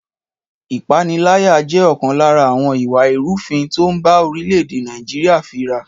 Ìpániláyà jẹ́ ọ̀kan lára àwọn ìwà ìrúfin tó ń bá orílẹ̀-èdè Nàìjíríà fí ra